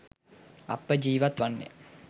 අප ජීවත් වන්නේ